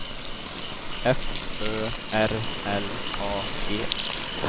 F Ö R L A G